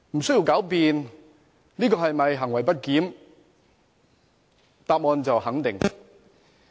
這是否行為不檢，無須狡辯，答案是肯定的。